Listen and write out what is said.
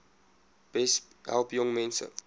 besp help jongmense